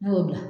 Ne y'o bila